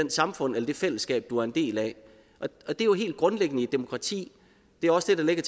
samfund eller det fællesskab du er en del af det er jo helt grundlæggende i et demokrati det er også det der ligger